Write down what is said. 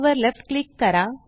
वर left click करा